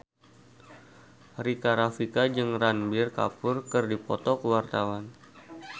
Rika Rafika jeung Ranbir Kapoor keur dipoto ku wartawan